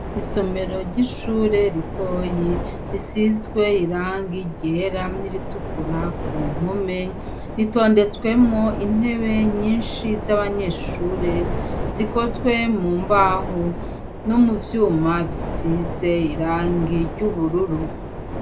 Isomero ry' ishure ritoyi, risizw' irangi ryera ni ritukura kumpombe, ritondetsemw' intebe nyinshi z' abanyeshure zikozwe mu mbaho, no mu vyuma bisiz' irangi ry' ubururu.